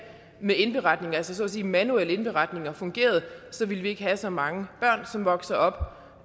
med indberetninger altså så at sige manuelle indberetninger fungerede ville vi ikke have så mange børn som vokser op